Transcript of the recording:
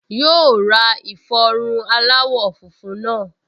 Yóò ra ìfọrun aláwọ̀ funfun náà